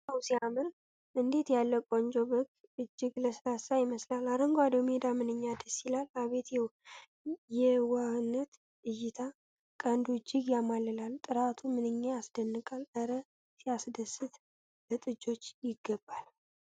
ዋው ሲያምር! እንዴት ያለ ቆንጆ በግ! እጅግ ለስላሳ ይመስላል። አረንጓዴው ሜዳ ምንኛ ደስ ይላል! አቤት የዋህነት እይታ! ቀንዱ እጅግ ያማልላል። ጥራቱ ምንኛ ያስደንቃል። እረ ሲያስደስት! ለጥጆች ይገባ!